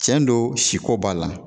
cɛn don siko b'a la